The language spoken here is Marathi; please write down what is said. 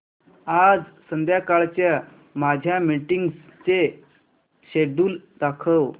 आज संध्याकाळच्या माझ्या मीटिंग्सचे शेड्यूल दाखव